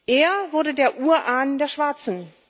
Er wurde der Urahn der Schwarzen.